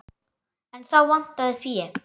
En þá vantaði fé.